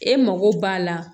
E mago b'a la